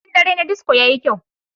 Bikin dare na disco yayi kyau.